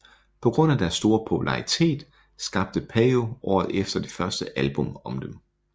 På grund af deres store popularitet skabte Peyo året efter det første album om dem